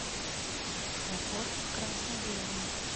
работа в красно белом